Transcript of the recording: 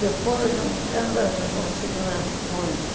Depois em vendas e consignações.